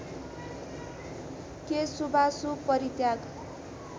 के शुभाशुभ परित्याग